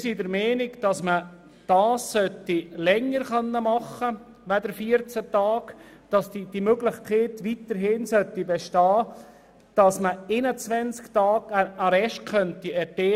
Ein Arrest sollte hier länger als 14 Tage dauern können, es sollte weiterhin die Möglichkeit bestehen, einen Arrest von 21 Tagen erteilen zu können.